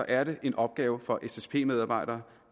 er det en opgave for ssp medarbejdere